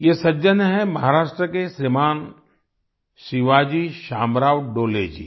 ये सज्जन हैं महाराष्ट्र के श्रीमान् शिवाजी शामराव डोले जी